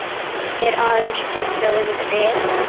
er aðeins fjallað um ryk.